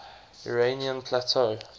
iranian plateau